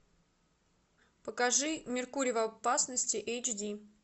покажи меркурий в опасности эйч ди